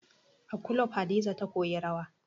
A kulob Hadiza ta koyi rawa